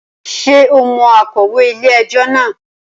Ṣe o mo akọ̀wé ilé ẹjọ́ náà